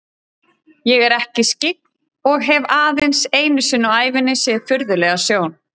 Ég er ekki skyggn og hef aðeins einu sinni á ævinni séð furðulega sjón.